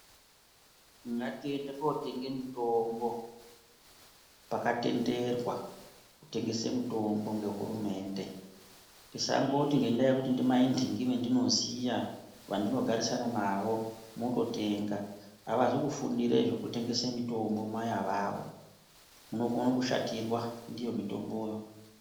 Ngatiende kunotenge mitombo pakatenderwa kutengese mitombo nehurumende tisangoti ngenda yekuti ndimai nhingi endinoziya andogarisana nawo mongotenga hazi kufundira zvekutengese mitombo mai ivavava unogone kushatirwa ndiyo mitomboyo.